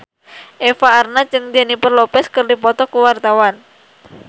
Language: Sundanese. Eva Arnaz jeung Jennifer Lopez keur dipoto ku wartawan